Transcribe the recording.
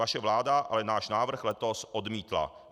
Vaše vláda ale náš návrh letos odmítla.